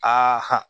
Aa